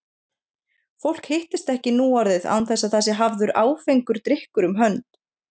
Fólk hittist ekki nú orðið án þess að það sé hafður áfengur drykkur um hönd.